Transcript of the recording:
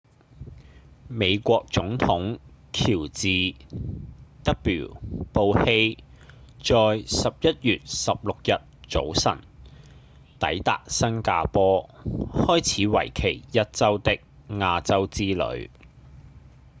美國總統喬治 ·w· 布希在11月16日早晨抵達新加坡開始為期一週的亞洲之旅